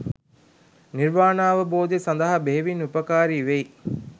නිර්වාණාවබෝධය සඳහා බෙහෙවින් උපකාරී වෙයි.